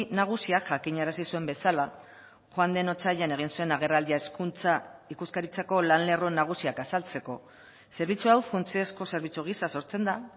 nagusiak jakinarazi zuen bezala joan den otsailean egin zuen agerraldia hezkuntza ikuskaritzako lan lerro nagusiak azaltzeko zerbitzu hau funtsezko zerbitzu gisa sortzen da